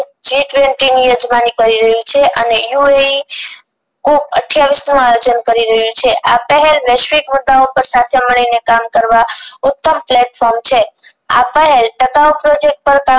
G twenty માં નિકડી રહ્યું છે અને યૂ એ ઇ ખૂબ અઠયાવિસ કરી રહ્યું છે આ પહેર વૈશ્વિક મુદ્દાઑ પર સાથે મળી ને કામ કરવા ઉત્તમ platform છે આ પહેર